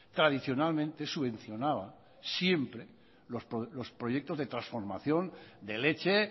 tradicionalmente subvencionaba siempre los proyectos de transformación de leche